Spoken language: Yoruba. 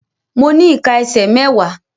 Mo ní ìká ẹsẹ̀ mẹ́wàá.